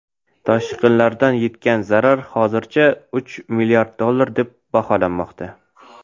Toshqinlardan yetgan zarar hozirda uch milliard dollar deb baholanmoqda.